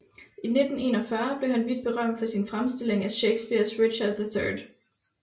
I 1741 blev han vidt berømmet for sin fremstilling af Shakespeares Richard III